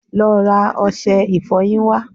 Lọ́ ra ọṣẹ ìfọyín wá